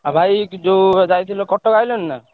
ଆଉ ଭାଇ ଯୋଉ ଯାଇଥିଲ କଟକ ଆଇଲଣି ନା?